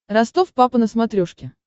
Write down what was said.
ростов папа на смотрешке